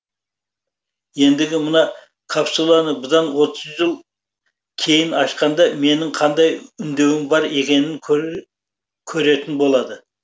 ендігі мына капсуланы бұдан отыз жыл кейін ашқанда менің қандай үндеуім бар екенін көретін болады